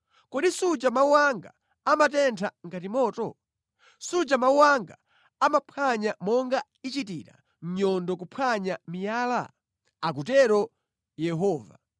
Kodi suja mawu anga amatentha ngati moto? Suja mawu anga amaphwanya monga ichitira nyundo kuphwanya miyala?” Akutero Yehova.